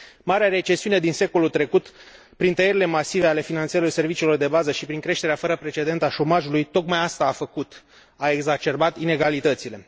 Marea recesiune din secolul trecut, prin tăierile masive ale finanțărilor serviciilor de bază și prin creșterea fără precedent a șomajului, tocmai asta a făcut a exacerbat in egalitățile.